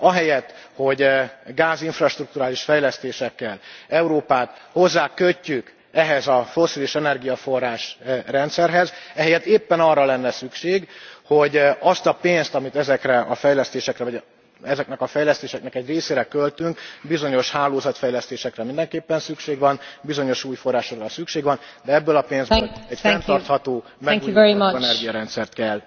Ahelyett, hogy gázinfrastrukturális fejlesztésekkel Európát hozzákötjük ehhez a fosszilis energiaforrás rendszerhez, ehelyett éppen arra lenne szükség, hogy azt a pénzt, amit ezekre a fejlesztésekre vagy ezeknek a fejlesztéseknek egy részére költünk, bizonyos hálózatfejlesztésekre mindenképpen szükség van, bizonyos új forrásokra szükség van, de ebből a pénzből egy fenntartható, megújuló energiarendszert kell